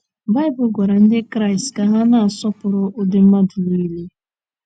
Baịbụl gwara Ndị Kraịst ka ha na - asọpụrụ ụdị mmadụ niile.